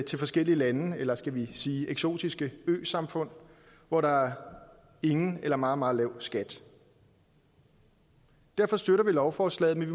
til forskellige lande eller skal vi sige eksotiske øsamfund hvor der er ingen eller meget meget lav skat derfor støtter vi lovforslaget men